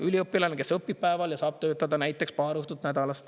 Üliõpilane, kes õpib päeval ja saab töötada näiteks paar õhtut nädalas.